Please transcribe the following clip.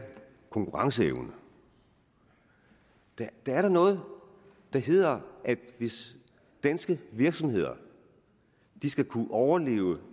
konkurrenceevnen der er da noget der hedder at hvis danske virksomheder skal kunne overleve